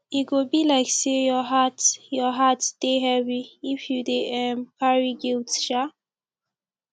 e go be like sey your heart heart dey heavy if you dey um carry guilt um